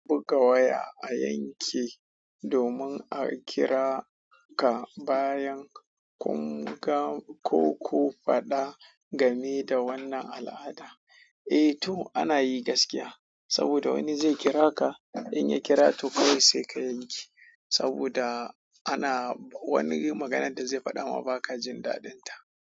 Buga waya a yanke domin a kira ka bayan kun ga ko ku faɗa game da wannan al'ada. Eh to ana yi gaskiya saboda wani zai kira ka in ya kira to kai sai ka yanke saboda ana wani maganan da zai faɗa ma baka jin daɗinta.